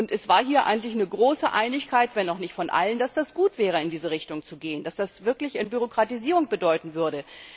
Und es herrschte hier eigentlich große Einigkeit zwar nicht unter allen dass es gut wäre, in diese Richtung zu gehen, dass das wirklich Entbürokratisierung bedeuten würde.